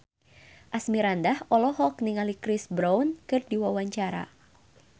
Asmirandah olohok ningali Chris Brown keur diwawancara